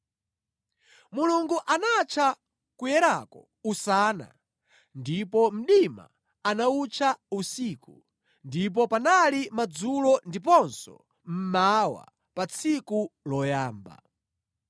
Mulungu anatcha kuwalako “usana” ndipo mdima anawutcha “usiku.” Ndipo panali madzulo ndiponso mmawa pa tsiku loyamba.